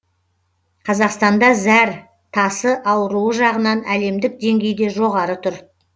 қазақстанда зәр тасы ауруы жағынан әлемдік деңгейде жоғары тұр